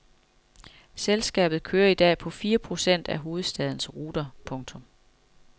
Selskabet kører i dag på fire procent af hovedstadens ruter. punktum